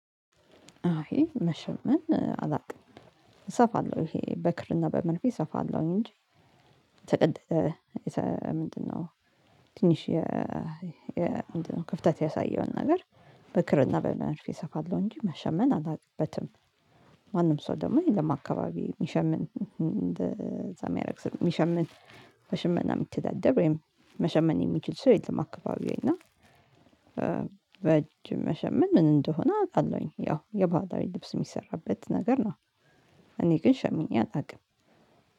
አይ መሸመን አላውቅም እሰፋለሁ ይሄ በክርና በመርፌ እሰፋለሁኝ እንጂ የተቀደደ ምንድነው? ትንሽ ክፍተት ያሳየውን ነገር በክርና በመርፌ እሰፋለሁ እንጂ መሸመን አላውቅበትም። ማንም ሰው ደግሞ እኛም አካባቢ የሚሸምን እንደዛ የሚያደርግ ሰው የሚሸምን በሸመና የሚተዳደር ወይም መሸመን የሚችል ሰው የለም። አካባቢው እና በእጅ መሸመን ምን እንደሆነ አውቃለሁኝ ያው የባህላዊ ልብስ የሚሰራበት ነገር ነው። እኔ ግን ሸምኜ አላውቅም።